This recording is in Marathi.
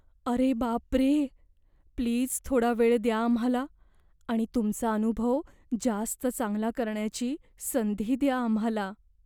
अरे बापरे... प्लीज थोडा वेळ द्या आम्हाला आणि तुमचा अनुभव जास्त चांगला करण्याची संधी द्या आम्हाला.